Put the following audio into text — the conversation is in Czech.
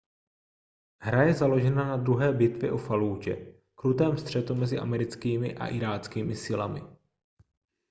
hra je založena na druhé bitvě u fallúdže krutém střetu mezi americkými a iráckými silami